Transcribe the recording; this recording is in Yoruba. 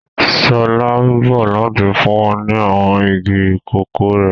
Sọlá ń bọ̀ láti fún wa ní àwọn igi kòkó rẹ̀